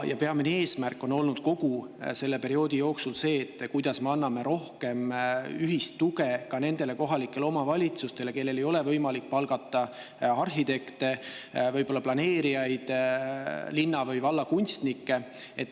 Ja peamine eesmärk on olnud kogu selle perioodi jooksul, kuidas me anname rohkem ühist tuge ka nendele kohalikele omavalitsustele, kellel ei ole võimalik palgata arhitekte, võib-olla planeerijaid, linna- või vallakunstnikke.